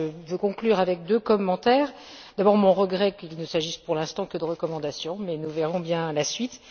Je conclurai par deux commentaires d'abord, je regrette qu'il ne s'agisse, pour l'instant, que de recommandations, mais nous verrons bien la suite